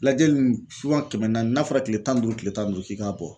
Lajɛli ninnu kɛmɛ naani n'a fɔra tile tan ni duuru, tile tan ni duuru f'i k'a bɔ